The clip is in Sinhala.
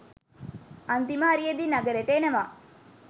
අන්තිම හරියෙදි නගරෙට එනවා